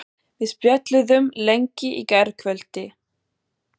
Við spjölluðum lengi í gærkvöldi.